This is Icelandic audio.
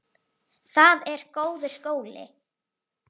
Það er góður skóli.